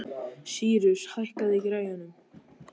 Sýrus, hækkaðu í græjunum.